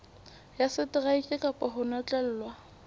ya seteraeke kapa ho notlellwa